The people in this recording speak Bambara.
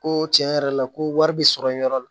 Ko tiɲɛ yɛrɛ la ko wari bɛ sɔrɔ yen yɔrɔ la